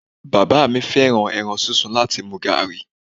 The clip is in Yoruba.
Bàbá mi fẹ́ràn ẹran sísun láti mu gààrí.